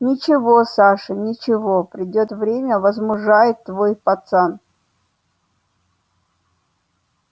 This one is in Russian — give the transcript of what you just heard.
ничего саша ничего придёт время возмужает твой пацан